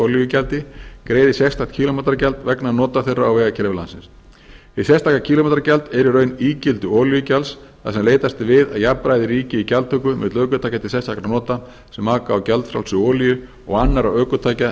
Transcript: olíugjaldi greiði sérstakt kílómetragjald vegna nota þeirra á vegakerfi landsins hið sérstaka kílómetragjald er í raun ígildi olíugjalds þar sem leitast er við að jafnræði ríki í gjaldtöku milli ökutækja til sérstakra nota sem aka á gjaldfrjálsri olíu og annarra ökutækja